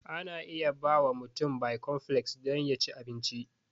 Ana iya bawa mutum bikonfleks dom ya ci abinci.